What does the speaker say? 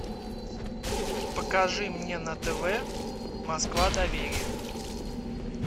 покажи мне на тв москва доверие